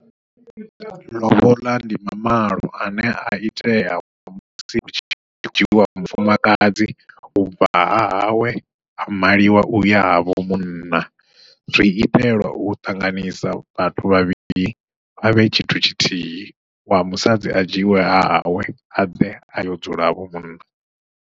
Ḽoboḽa ndi mamalo ane a itea musi hu tshi dzhiwa wa mufumakadzi ubva hahawe a maliwa uya ha vho munna, zwi itelwa u ṱanganisa vhathu vhavhili vha vhe tshithu tshithihi wa musadzi a dzhiiwe hahawe abve ayo dzula ha vho munna.